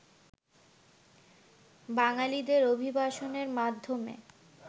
বাঙালিদের অভিবাসনের মাধ্যমে